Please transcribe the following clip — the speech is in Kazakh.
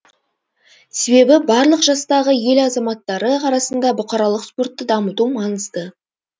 себебі барлық жастағы ел азаматтары арасында бұқаралық спортты дамыту маңызды